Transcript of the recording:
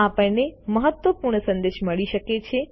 આપણને મહત્વપૂર્ણ સંદેશ મળી શકે છે